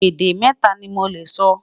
Èdè mẹta ní Mo lẹ sọ